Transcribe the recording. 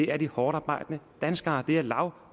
er de hårdtarbejdende danskere det er lav